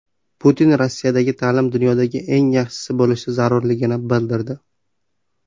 Putin Rossiyadagi ta’lim dunyoda eng yaxshisi bo‘lishi zarurligini bildirdi.